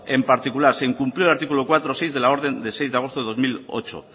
en particular se incumplió el artículo cuatro punto seis de la orden de seis de agosto de dos mil ocho